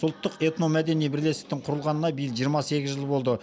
ұлттық этномәдени бірлестіктің құрылғанына биыл жиырма сегіз жыл болды